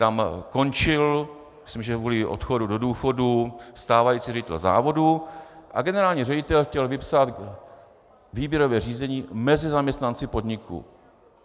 Tam končil, myslím, že kvůli odchodu do důchodu, stávající ředitel závodu a generální ředitel chtěl vypsat výběrové řízení mezi zaměstnanci podniku.